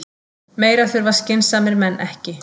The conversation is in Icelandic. Meira þurfa skynsamir menn ekki.